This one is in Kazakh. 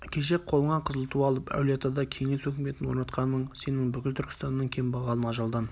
кеше қолыңа қызыл ту алып әулиеатада кеңес өкіметін орнатқаның сенің бүгін бүкіл түркістанның кембағалын ажалдан